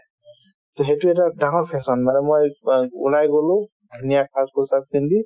to সেইটো এটা ডাঙৰ fashion মানে মই অ ওলাই গ'লো ধুনীয়া সাজপোছাক পিন্ধি